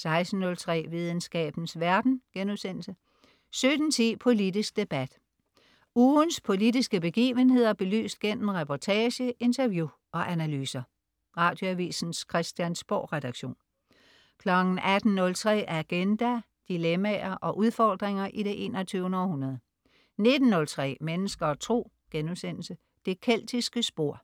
16.03 Videnskabens verden* 17.10 Politisk debat. Ugens politiske begivenheder belyst gennem reportage, interview og analyser. Radioavisens Christiansborgredaktion 18.03 Agenda. Dilemmaer og udfordringer i det 21. århundrede 19.03 Mennesker og Tro.* Det keltiske spor